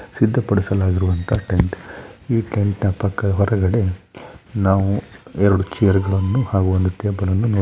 ಸಿದ್ಧಪಡಿಸಲಾಗಿರುವಂತಹ tent . ಈ tent ನ ಪಕ್ಕ ಹೊರಗಡೆ ನಾವು ಎರಡು ಚೇರು ಗಳನ್ನು ಹಾಗೂ ಒಂದು ಟೇಬಲ್ ಅನ್ನು ನೋಡು --